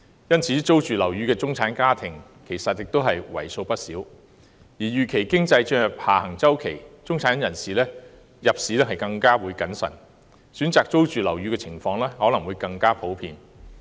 因此，租住樓宇的中產家庭其實為數不少，而由於經濟預期進入下行周期，中產人士入市將更謹慎，選擇租住樓宇的情況可能更普遍。